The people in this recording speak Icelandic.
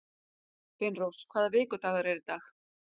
Finnrós, hvaða vikudagur er í dag?